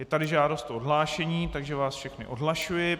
Je tady žádost o odhlášení, takže vás všechny odhlašuji.